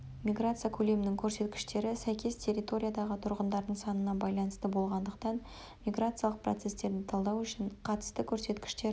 миграция көлемінің көрсеткіштері сәйкес территориядағы тұрғындардың санына байланысты болғандықтан миграциялық процестерді талдау үшін қатысты көрсеткіштер